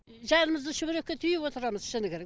жанымызды шүберекке түйіп отырамыз шыны керек